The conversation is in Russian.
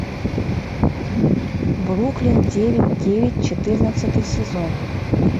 бруклин девять девять четырнадцатый сезон